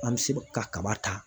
An mɛ se ka kaba ta.